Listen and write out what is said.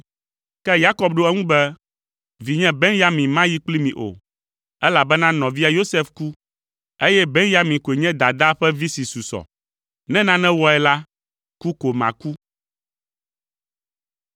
Ke Yakob ɖo eŋu be, “Vinye Benyamin mayi kpli mi o, elabena nɔvia Yosef ku, eye Benyamin koe nye dadaa ƒe vi si susɔ. Ne nane wɔe la, ku ko maku.”